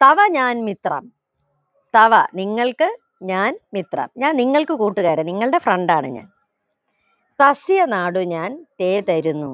ചവ ഞാൻ മിത്രം ചവ നിങ്ങൾക്ക് ഞാൻ മിത്രം ഞാൻ നിങ്ങൾക്ക് കൂട്ടുകാരാ നിങ്ങള്ടെ friend ആണ് ഞാൻ ഫസിയ നാടു ഞാൻ ചേതരുന്നു